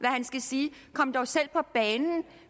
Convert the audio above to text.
han skal sige kom dog selv på banen det